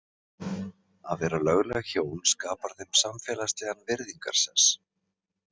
Að vera lögleg hjón skapar þeim samfélagslegan virðingarsess.